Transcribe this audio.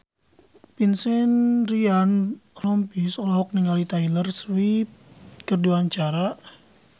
Vincent Ryan Rompies olohok ningali Taylor Swift keur diwawancara